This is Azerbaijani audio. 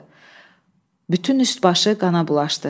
Bütün üst-başı qana bulaşdı.